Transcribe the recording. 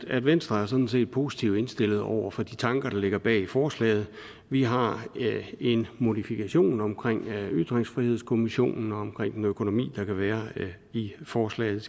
at venstre sådan set er positivt indstillet over for de tanker der ligger bag forslaget vi har en modifikation omkring ytringsfrihedskommissionen og omkring den økonomi der kan være i forslaget